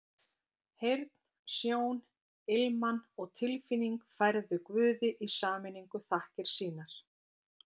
Heyrn, sjón, ilman og tilfinning færðu Guði í sameiningu þakkir sínar.